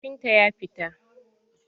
Kafintan ya fita.